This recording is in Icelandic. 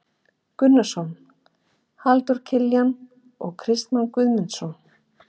Gunnarsson, Halldór Kiljan og Kristmann Guðmundsson.